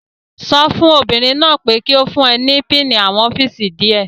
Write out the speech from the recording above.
Sọ fún obìnrin náà pé kí ó fún ọ ní àwọn pinni ọ́fíìsì díẹ̀.